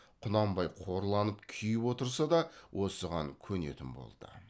құнанбай қорланып күйіп отырса да осыған көнетін болды